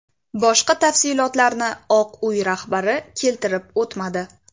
Boshqa tafsilotlarni Oq Uy rahbari keltirib o‘tmadi.